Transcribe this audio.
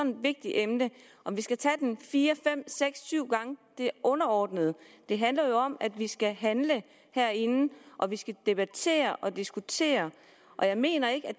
vigtigt emne om vi skal tage den fire fem seks eller syv gange er underordnet det handler jo om at vi skal handle herinde og vi skal debattere og diskutere jeg mener ikke at